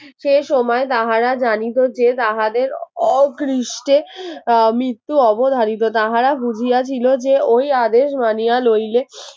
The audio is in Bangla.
যে সময় তাহারা জানি তো যে তাহাদের অগ্রিস্টে আহ মৃত্যু অবধারিত তাহারা বুঝিয়া ছিল যে ওই আদেশ মানিয়া লইলে